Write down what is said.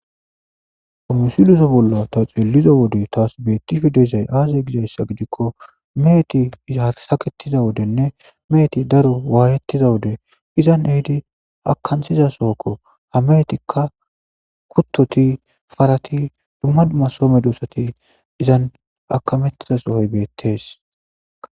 kamusiloso bolla ta xeeliza wode taas beettiho dezay aazey gizayssa gidikko meheti izharsaketiza wodenne meeti daro waayettiza wode izan ehidi akansiza sohokko ha meetikka kuttoti farati dumma dumma some dosati izan akamettiza sohoy beettees